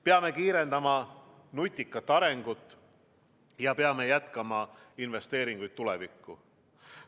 Peame kiirendama nutikat arengut ja peame jätkama investeeringuid tulevikku.